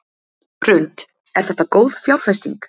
Hrund: Er þetta góð fjárfesting?